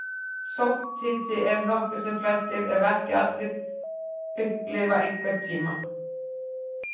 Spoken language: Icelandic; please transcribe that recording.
Sótthiti er nokkuð sem flestir, ef ekki allir, upplifa einhvern tíma.